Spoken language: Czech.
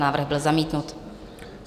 Návrh byl zamítnut.